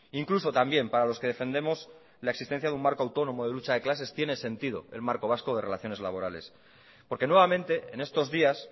incluso también para los que defendemos la existencia de un marco autónomo de lucha de clases tiene sentido el marco vasco de relaciones laborales porque nuevamente en estos días